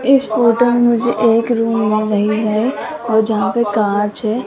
इस फोटो में मुझे एक रूम मिल रही है और जहां पे कांच है।